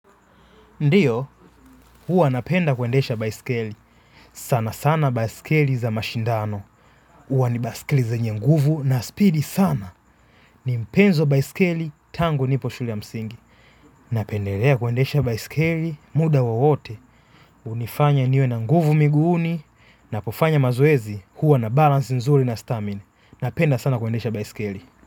Ndiyo, huwa napenda kuendesha baiskeli. Sana sana baiskeli za mashindano. Huwa ni baiskeli zenye nguvu na speedy sana. Ni mpenzi wa baiskeli tangu nipo shule ya msingi. Napendelea kuendesha baiskeli muda wowote. Hunifanya niwe na nguvu miguuni. Napofanya mazoezi huwa na balance nzuri na stamina. Napenda sana kwendesha baiskeli.